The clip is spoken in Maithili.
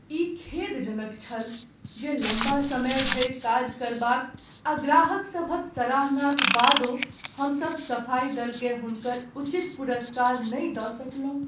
ई खेदजनक छल जे लम्बा समय धरि काज करबाक आ ग्राहकसभक सराहनाक बादो, हमसभ सफाई दलकेँ हुनकर उचित पुरस्कार नहि दऽ सकलहुँ।